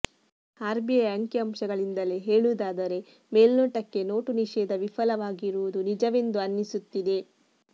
RBI ಅಂಕಿ ಅಂಶಗಳಿಂದಲೇ ಹೇಳುವುದಾದರೆ ಮೇಲ್ನೋಟಕ್ಕೆ ನೋಟು ನಿಷೇಧ ವಿಫಲವಾಗಿರುವುದು ನಿಜವೆಂದು ಅನ್ನಿಸುತ್ತಿದೆ